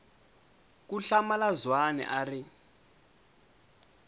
ku hlamula zwane a ri